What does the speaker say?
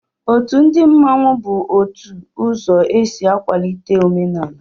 Òtù ndị mmanwu bu ótù ụzọ e sị akwalite omenala